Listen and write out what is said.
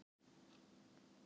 Sjö þeirra létu lífið